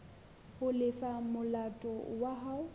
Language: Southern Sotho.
ho lefa molato wa hao